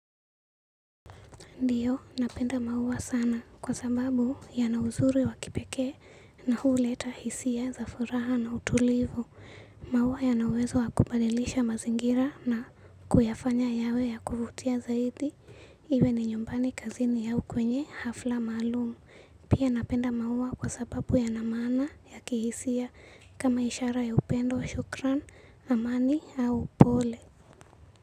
Ndiyo, napenda maua sana kwa sababu yana uzuri wa kipekee na huleta hisia za furaha na utulivu. Maua yanaweza kubadilisha mazingira na kuyafanya yawe ya kuvutia zaidi. Iwe ni nyumbani kazini au kwenye hafla maalum. Pia napenda maua kwa sababu yanamaana ya kihisia kama ishara ya upendo wa shukran, amani au pole.